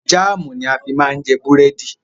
Jámùù ni a fi má ń jẹ búrẹ́dì.